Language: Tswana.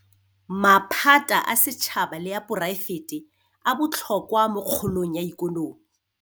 Maphata a setšhaba le a poraefete a botlhokwa mo kgolong ya ikonomi.